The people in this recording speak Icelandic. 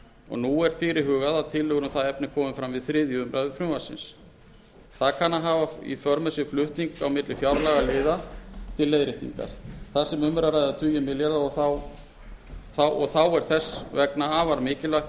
og nú er fyrirhugað að tillögur um það efni komi fram við þriðju umræðu frumvarpsins það kann að hafa í för með sér flutning á milli fjárlagaliða til leiðréttingar þar sem um er að ræða tugi milljarða og þá er þess vegna afar mikilvægt milli